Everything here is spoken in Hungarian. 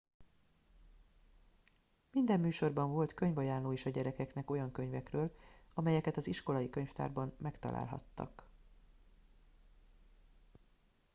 minden műsorban volt könyvajánló is a gyerekeknek olyan könyvekről amelyeket az iskolai könyvtárban megtalálhattak